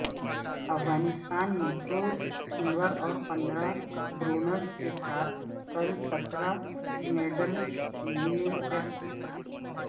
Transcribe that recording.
افغانستان نے دو سلور اور پندرہ برونز کے ساتھ کل سترہ میڈل لیے جبکہ